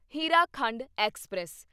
Hirakhand express